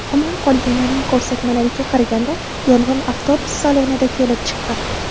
Omon qolganlarning ko‘rsatmalariga qaraganda, yong‘in avtobus salonida kelib chiqqan.